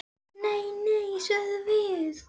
Nei, nei, sögðum við.